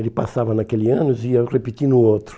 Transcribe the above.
Ele passava naquele ano e ia repetir no outro.